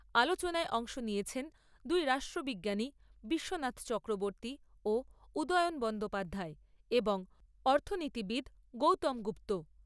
আলোচনায় অংশ নিয়েছেন দুই রাষ্ট্রবিজ্ঞানী বিশ্বনাথ চক্রবর্তী ও উদয়ন বন্দ্যোপাধ্যায় এবং অর্থনীতিবিদ গৌতম গুপ্ত।